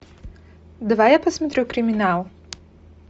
давай я посмотрю криминал